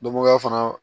Dɔnbagaya fana